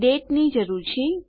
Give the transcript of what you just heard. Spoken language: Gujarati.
દાતે ની જરૂર છે